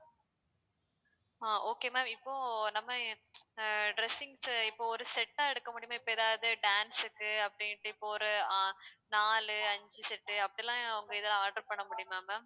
ஆஹ் okay ma'am இப்போ நம்ம ஆஹ் dressings இப்போ ஒரு set ஆ எடுக்க முடியுமா இப்போ ஏதாவது dance க்கு அப்படின்ட்டு இப்போ ஒரு ஆஹ் நாலு அஞ்சு set அப்படிலாம் உங்க இதுல order பண்ண முடியுமா ma'am